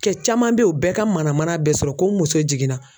Kɛ caman bɛ ye u bɛɛ ka mana mana bɛ sɔrɔ ko n muso jiginna.